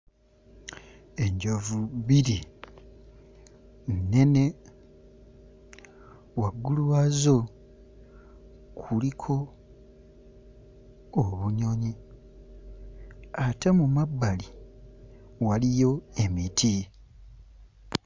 Enjovu bbiri nnene, waggulu waazo kuliko obunyonyi ate mu mabbali waliyo emiti.